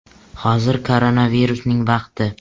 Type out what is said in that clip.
Hozir koronavirusning vaqti.